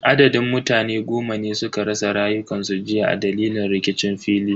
Adadin mutane goma ne suka rasa rayukansu jiya a dalilin rikicin fili.